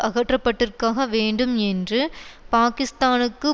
அகற்றப்பட்டிருக்கக வேண்டும் என்றும் பாக்கிஸ்தானுக்கு